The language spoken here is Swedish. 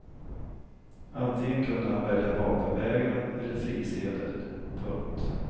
Antingen kunde han välja vapenvägran eller frisedel. punkt